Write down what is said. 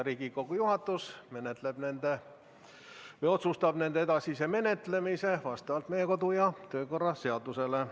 Riigikogu juhatus otsustab nende edasise menetlemise vastavalt meie kodu- ja töökorra seadusele.